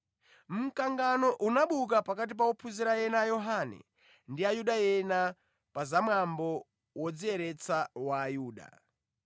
Mkangano unabuka pakati pa ophunzira ena a Yohane ndi Ayuda ena pa zamwambo wodziyeretsa wa Ayuda.